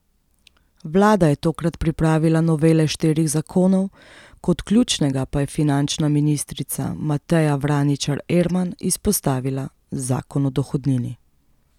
Vlada je tokrat pripravila novele štirih zakonov, kot ključnega pa je finančna ministrica Mateja Vraničar Erman izpostavila zakon o dohodnini.